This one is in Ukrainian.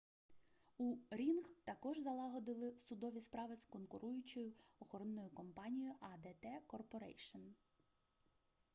у рінг також залагодили судові справи з конкуруючою охоронною компанією адт корпорейшн